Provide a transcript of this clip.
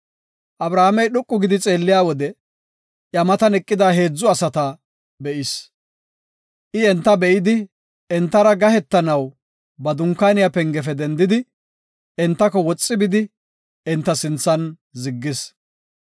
Abrahaamey dhoqu gidi xeelliya wode iya matan eqida heedzu asata be7is. I enta be7idi entara gahetanaw ba dunkaaniya pengefe dendidi entako woxi bidi enta sinthan ziggis.